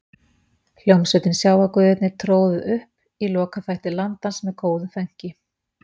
Hljómsveitin Sjávarguðirnir tróðu upp í lokaþætti Landans með góðu fönki.